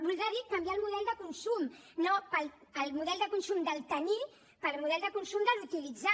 voldrà dir canviar el model de consum el model de consum del tenir pel model de consum de l’utilitzar